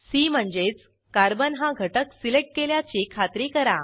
C म्हणजेच carbon हा घटक सिलेक्ट केल्याची खात्री करा